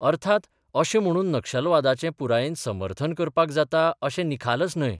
अर्थात, अशें म्हणून नक्षलवादाचें पुरायेन समर्थन करपाक जाता अशें निखालस न्हय.